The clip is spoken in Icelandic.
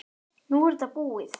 Nú er þetta búið.